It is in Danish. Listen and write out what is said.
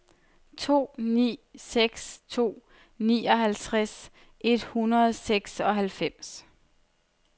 to ni seks to nioghalvtreds et hundrede og seksoghalvfems